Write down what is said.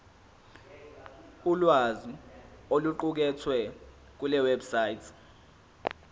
ulwazi oluqukethwe kulewebsite